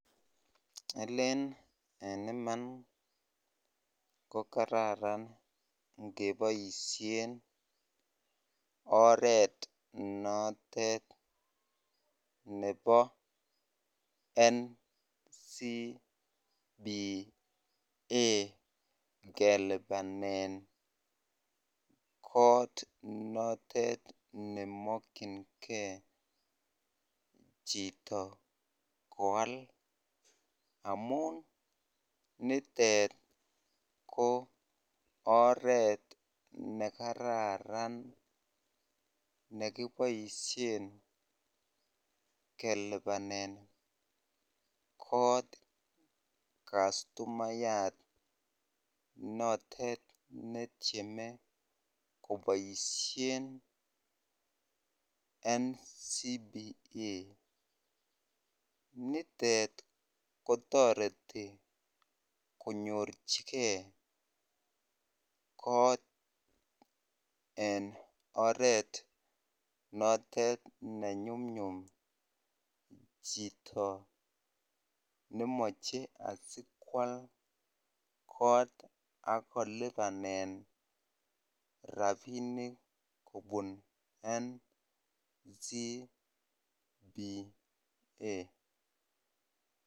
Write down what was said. Aleen en iman kokararan ingeboishen oreet notet nebo NCBA kelibanen koot notet nemokyinge chito koaal amun nitet ko oreet nekararan nekiboishen keelibanen koot customayat notet netieme koboishen NCBA, nitet kotoreti konyorchike koot en oreet notet ne nyumnyum chito nemoche asikwal koot ak kolibanen rabinik kobun NCBA.